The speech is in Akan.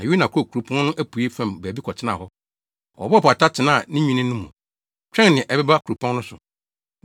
Na Yona kɔɔ kuropɔn no apuei fam baabi kɔtenaa hɔ. Ɔbɔɔ pata tenaa ne nwini no mu, twɛn nea ɛbɛba kuropɔn no so.